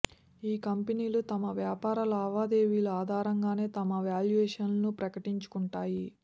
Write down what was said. ఈ కంపెనీలు తమ వ్యాపార లావాదేవీల ఆధారంగానే తమ వాల్యూయేషన్ను ప్రకటించుకుంటాయి